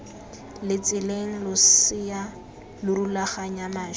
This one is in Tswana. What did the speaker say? letseleng losea lo rulaganya mašwi